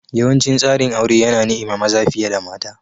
Yawancin tsarin aure yana niima maza fiye da mata.